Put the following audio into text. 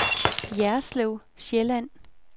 Jerslev Sjælland